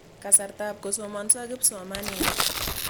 Kasartap kosomanso kipsomaninik.